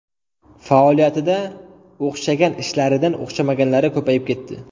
Faoliyatida o‘xshagan ishlaridan o‘xshamaganlari ko‘payib ketdi.